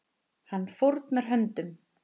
Hann fórnar höndum.